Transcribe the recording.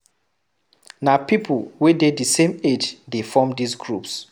Na pipo wey dey di same age de form these groups